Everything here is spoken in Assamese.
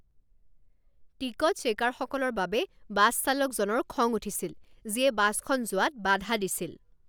টিকট চেকাৰসকলৰ বাবে বাছ চালকজনৰ খং উঠিছিল, যিয়ে বাছখন যোৱাত বাধা দিছিল।